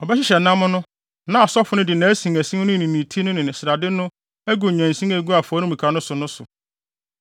Ɔbɛhyehyɛ nam no na asɔfo no de nʼasinasin no ne ti no ne ne srade no agu nnyansin a egu afɔremuka no so no so.